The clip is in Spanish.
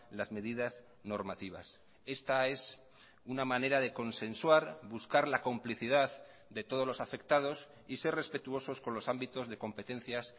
las medidas normativas esta es una manera de consensuar buscar la complicidad de todos los afectados y ser respetuosos con los ámbitos de competencias